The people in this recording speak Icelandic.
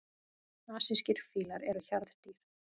Asískir fílar eru hjarðdýr.